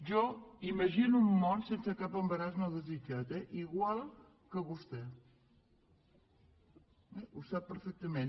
jo imagino un món sense cap embaràs no desitjat eh igual que vostè ho sap perfectament